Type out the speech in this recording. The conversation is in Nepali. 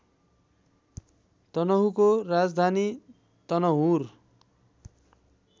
तनहुँको राजधानी तनहुँर